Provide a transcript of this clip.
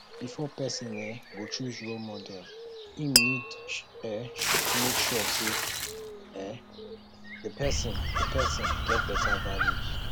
before person um go choose role model im need um to make sure sey um di person di person get better values